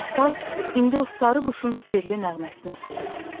Və saz indi o sarı quşun sirli nəğməsini oxuyurdu.